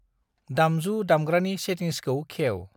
दामजु दामग्रानि सेटिंसखौ खेव।